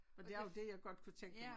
Men det er også det jeg godt kunne tænke mig